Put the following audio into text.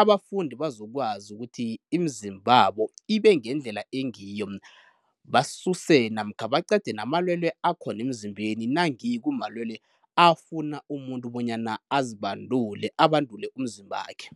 abafundi bazokwazi ukuthi imizimbabo ibe ngendlela engiyo, basuse namkha baqede namalwelwe akhona emzimbeni nange kumalwelwe afuna umuntu bonyana azibandule, abandule umzimbakhe.